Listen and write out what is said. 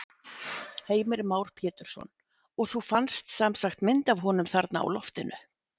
Heimir Már Pétursson: Og þú fannst semsagt mynd af honum þarna á loftinu?